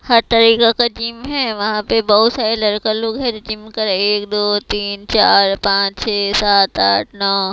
हर तरीका का जिम है वहां पे बहुत सारे लड़का लोग है जो जिम कर एक दो तीन चार पांच छे सात आठ नौ--